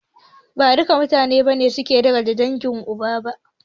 Ba duka mutane ne suke darajanta dangin uba ba.